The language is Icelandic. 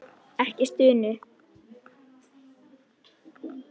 Ekki stunu.